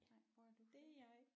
Nej hvor er du født?